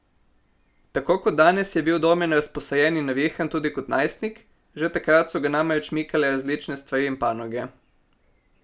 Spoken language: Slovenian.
Tako kot danes je bil Domen razposajen in navihan tudi kot najstnik, že takrat so ga namreč mikale različne stvari in panoge.